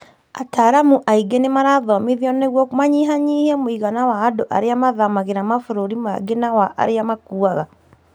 Ataramu aingĩ nĩ marathomithio nĩguo manyihanyihie mũigana wa andũ arĩa mathamagĩra mabũrũri mangĩ na wa arĩa makuaga.